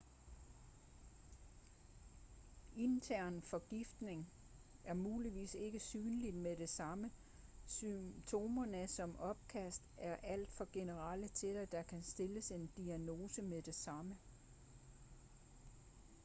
intern forgiftning er muligvis ikke synlig med det samme symptomer som opkast er alt for generelle til at der kan stilles en diagnose med det samme